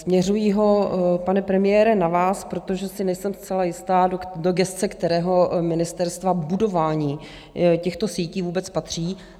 Směřuji ho, pane premiére, na vás, protože si nejsem zcela jistá, do gesce kterého ministerstva budování těchto sítí vůbec patří.